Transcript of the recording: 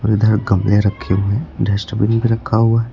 इधर गमले रखे हुए है डस्टबिन भी रखा हुआ है।